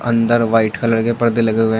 अंदर white colour के परदे लगे हुए हैं।